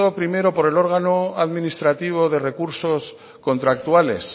primero por el órgano administrativo de recursos contractuales